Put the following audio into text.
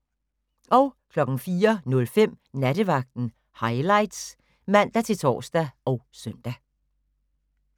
04:05: Nattevagten Highlights (man-tor og søn)